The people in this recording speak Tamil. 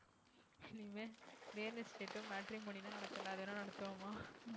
இனிமேல் real estate உம் matrimony தான் நடத்தல அதுவேனா நடத்துவோமா